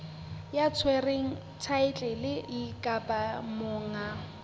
ya tshwereng thaetlele kapa monga